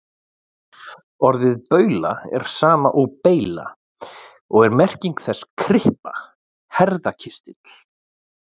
Orðið baula er sama og beyla og er merking þess kryppa, herðakistill.